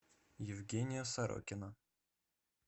евгения сорокина